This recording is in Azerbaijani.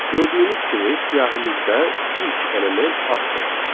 Gördüyünüz kimi siyahımızda ilk element addır.